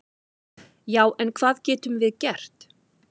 """Já, en hvað getum við gert?"""